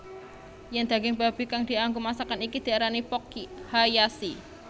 Yen daging babi kang dianggo masakan iki diarani Pork Hayashi